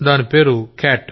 దాని పేరు క్యాట్